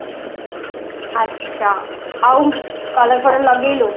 ଆଛା ଆଉ color ଫଳର୍ର ଲଗେଇଲୁ